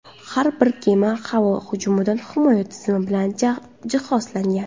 Har bir kema havo hujumidan himoya tizimi bilan jihozlangan.